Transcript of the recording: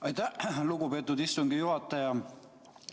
Aitäh, lugupeetud istungi juhataja!